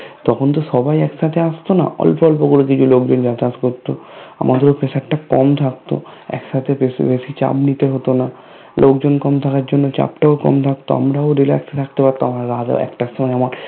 তখন তো সবাই একসাথে আসতো না অল্প অল্প করে কিছু লোকজন যাতায়াত করতো আমাদের ও Pressure টা কম থাকতো একসাথে বেশি বেশি চাপ নিতে হতো না লোকজন কম থাকার জন্য চাপ টাও কম থাকতো আমরাও Relax এ থাকতে পারতাম আর রাত এক টার সময় আমার